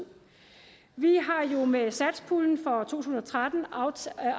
vi har jo med satspuljen for tusind og tretten afsat